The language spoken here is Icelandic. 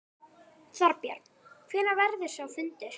Þorbjörn: Hvenær verður sá fundur?